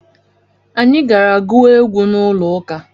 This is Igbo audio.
Anyị gara gụọ egwu n'ụlọụka